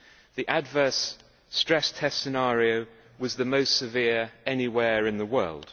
The adverse stress test scenario was the most severe anywhere in the world.